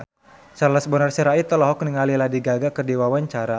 Charles Bonar Sirait olohok ningali Lady Gaga keur diwawancara